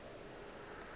o be a le gona